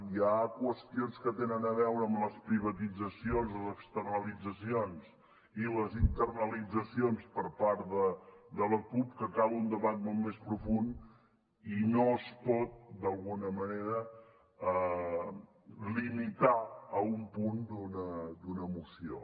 hi ha qüestions que tenen a veure amb les privatitzacions les externalitzacions i les internalitzacions per part de la cup que cal un debat molt més profund i no es pot d’alguna manera limitar a un punt d’una moció